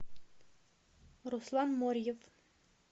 руслан морьев